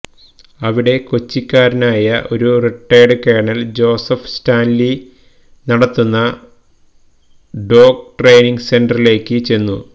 അവിടെ കൊച്ചിക്കാരനായ ഒരു റിട്ടേർഡ് കേണൽ ജോസഫ് സ്റ്റാൻലി നടത്തുന്ന ഡോഗ് ട്രൈനിംഗ് സെന്ററിലേക്ക് ചെന്നു